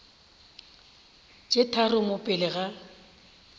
tse tharo mo pele ga